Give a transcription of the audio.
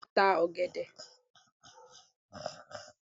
Bẹ́ẹ̀ni màá ta ọ̀gẹ̀dẹ̀.